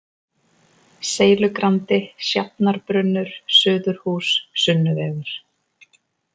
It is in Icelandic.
Seilugrandi, Sjafnarbrunnur, Suðurhús, Sunnuvegur